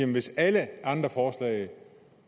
hvis alle andre forslag